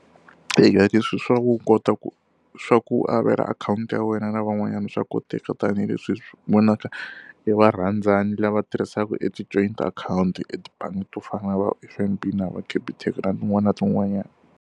Eya leswi swa u kota ku swa ku avela akhawunti ya wena na van'wanyana swa koteka tanihileswi hi swi vonaka hi varhandzani lava tirhisaka e ti-joint akhawunti etibangi to fana na na va F_N_B na va Capitec na tin'wana na tin'wanyana.